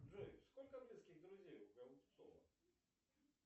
джой сколько близких друзей у голубцова